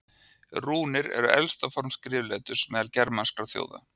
Rúnir eru elsta form skrifleturs meðal germanskra þjóða.